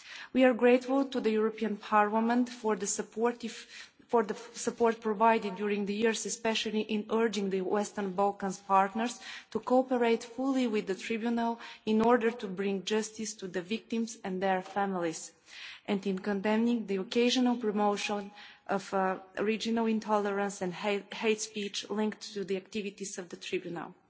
Balkan partners. We are grateful to the European Parliament for the support provided during the years, especially in urging the Western Balkans' partners to cooperate fully with the Tribunal in order to bring justice to the victims and their families, and in condemning the occasional promotion of regional intolerance and hate speech linked to the activities